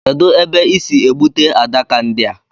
Kedụ ebe ị sị egbute adaka ndi a